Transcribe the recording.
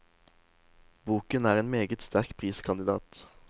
Boken er en meget sterk priskandidat.